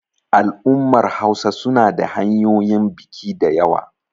al'ummar Hausa suna da hanyoyin biki da yawa